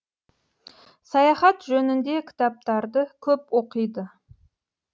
саяхат жөнінде кітаптарды көп оқиды